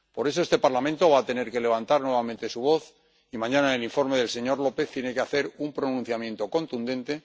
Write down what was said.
Por eso este Parlamento va a tener que levantar nuevamente su voz y mañana, en el informe del señor López, tiene que hacer un pronunciamiento contundente.